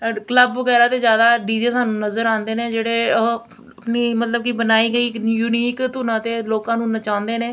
Club ਵਗੈਰਾ ਤੇ ਜਿਆਦਾ ਡੀ_ਜੇ ਸਾਨੂੰ ਨਜ਼ਰ ਆਂਦੇ ਨੇ ਜੇਹੜੇ ਓਹ ਆਪਣੀ ਮਤਲਬ ਕੀ ਬਨਾਈ ਇੱਕ ਯੂਨੀੋਕ ਧੁਨਾਂ ਤੇ ਲੋਕਾਂ ਨੂੰ ਬਚਾਉਂਦੇ ਨੇ।